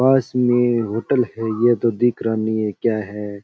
पास मे होटल है ये तो दिख रहा नहीं है क्या है।